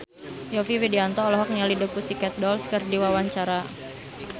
Yovie Widianto olohok ningali The Pussycat Dolls keur diwawancara